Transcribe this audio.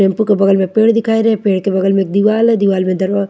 tempo के बगल में पेड़ दिखाई रे पेड़ के बगल में दीवाल है दीवाल में दरवा--